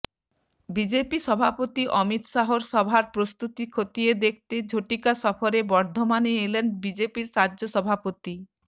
BJP সভাপতি অমিত শাহর সভার প্রস্তুতি খতিয়ে দেখতে ঝটিকা সফরে বর্ধমানে এলেন বিজেপির রাজ্য সভাপতি